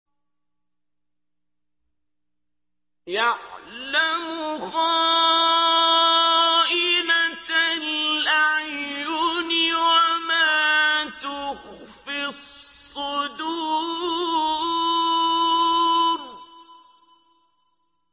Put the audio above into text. يَعْلَمُ خَائِنَةَ الْأَعْيُنِ وَمَا تُخْفِي الصُّدُورُ